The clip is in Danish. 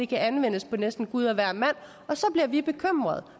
kan anvendes på næsten gud og hvermand og så bliver vi bekymrede